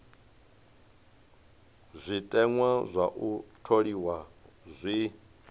zwiteṅwa zwa u tholiwa zwi